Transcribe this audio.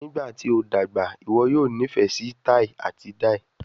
Nigbati o dagba, iwọ yoo nifẹ si tai ati dai?